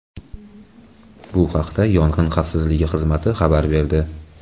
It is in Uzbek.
Bu haqda Yong‘in xavfsizligi xizmati xabar berdi .